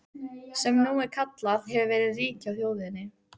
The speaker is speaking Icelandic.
sem nú er kallað- hefur verið rík hjá þjóðinni.